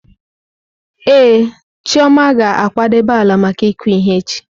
Ee, Chioma ga-akwadebe ala maka ịkụ ihe echi.